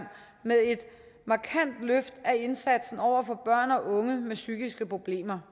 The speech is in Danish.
med et markant løft af indsatsen over for børn og unge med psykiske problemer